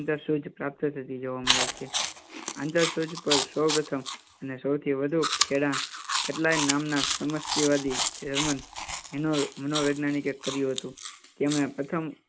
અંદર થીજ આંતર સૂજ પ્રાપ્ત થતી જોવા મળે છે. આંતર સૂજ પર સહુ પ્રથમ અને સહુથી વધુ ખેડાણ નામના જર્મન મનોવૈજ્ઞાનિક કર્યું હતું. તેમાં પ્રથમ